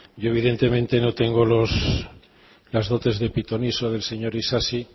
yo evidentemente no tengo las dotes de pitoniso del señor isasi